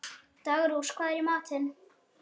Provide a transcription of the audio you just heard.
Daggrós, hvað er í matinn?